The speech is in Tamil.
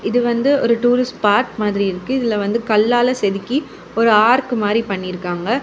இது வந்து ஒரு டூரிஸ்ட் ஸ்பாட் மாதிரி இருக்கு இதுல வந்து கல்லால செதுக்கி ஒரு ஆர்க் மாதிரி பண்ணி இருக்காங்க.